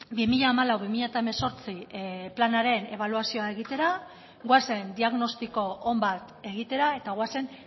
bi mila hamalau bi mila hemezortzi planaren ebaluazioa egitera goazen diagnostiko on bat egitera eta goazen